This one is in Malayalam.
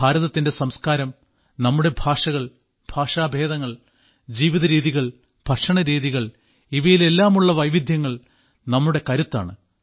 ഭാരതത്തിന്റെ സംസ്കാരം നമ്മുടെ ഭാഷകൾ ഭഷാഭേദങ്ങൾ ജീവിതരീതികൾ ഭക്ഷണരീതികൾ ഇവയിലെല്ലാമുള്ള വൈവിധ്യങ്ങൾ നമ്മുടെ കരുത്താണ്